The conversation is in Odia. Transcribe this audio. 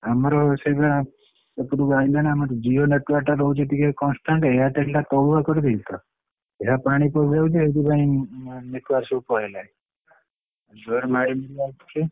ଆମର ସେଇଭଳିଆ ଏପଟାକୁ ଆଇଲାଣି ଆମର ଜିଓ jio network ଟା ରହୁଛି ଟିକେ constant ରହୁଛି Airtel ଟା ତଳୁଆ କରି ଦେଇଛି ତ ଏଇ ପାଣି ପଶିଯାଉଛି ସେଥିପାଇଁ network ସବୁ ପଳେଇଲାଣି।